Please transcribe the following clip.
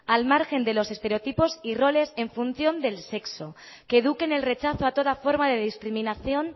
al margen de los estereotipos y roles en función del sexo que eduque en el rechazo a toda forma de discriminación